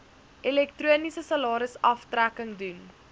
elektroniese salarisaftrekking doen